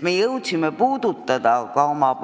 Me jõudsime